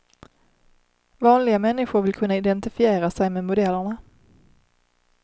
Vanliga människor vill kunna identifiera sig med modellerna.